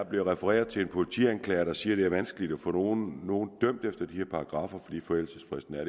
bliver refereret til en politianklager der siger at det er vanskeligt at få nogen dømt efter de her paragraffer fordi forældelsesfristen er